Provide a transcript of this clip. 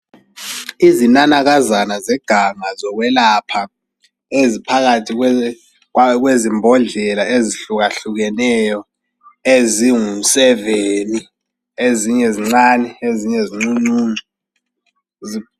Izinanakazana zeganga zokwelapha eziphakathi kwezimbodlela ezihlukahlukeneyo ezinguseveni. Ezinye zincane ezinye zincuncuncu.